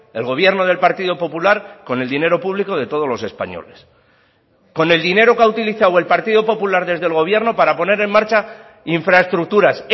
el gobierno del partido popular con el dinero público de todos los españoles con el dinero que ha utilizado el partido popular desde el gobierno para poner en marcha infraestructuras